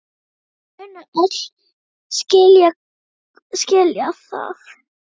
Veit að þau munu öll skilja það.